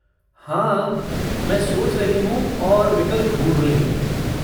हाँ, मैं सोच रही हूँ और विकल्प ढूँढ रही हूँ।